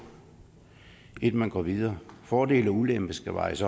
inden man går videre fordele og ulemper skal vejes